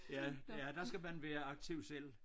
Ja ja der skal man være aktiv selv